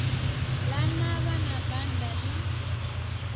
ḽa navha na banda ḽi